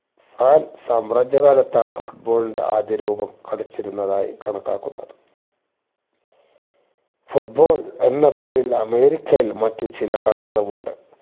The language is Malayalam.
ആൻ സാമ്രാജ്യ കാലത്താണ് foot ball ന്റെ ആദ്യ രൂപം കളിച്ചിരുന്നതായി കണക്കാക്കുന്നത് foot ball എന്ന പേരിൽ അമേരിക്കയിൽ മറ്റ് ചില കളികളുമുണ്ട്